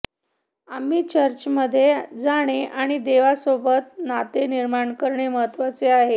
आम्ही चर्चमध्ये जाणे आणि देवासोबत नाते निर्माण करणे महत्वाचे आहे